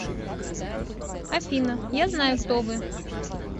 афина я знаю кто вы